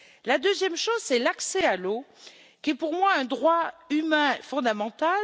Le deuxième point, c'est l'accès à l'eau, qui est pour moi un droit humain fondamental.